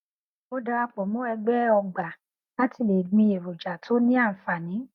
mo darapọ mọ ẹgbẹ ọgbà láti le gbin èròjà tó ní ànfààní